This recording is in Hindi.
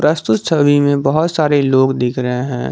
प्रस्तुत छवि में बहुत सारे लोग दिख रहे हैं।